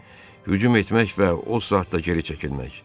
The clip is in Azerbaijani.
Hücum etmək və o saatda geri çəkilmək.